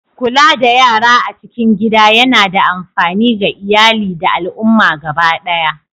Kula da yara a cikin gida yana da amfani ga iyali da al'umma gaba ɗaya.